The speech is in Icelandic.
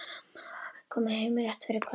Amma og afi komu heim rétt fyrir kvöldmat.